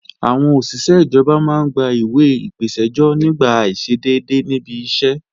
Àwọn òṣìṣé ìjọba máa ń gba ìwẹ̀ ìpèsẹ́jọ́ nígbà àìṣedédé níbi iṣẹ́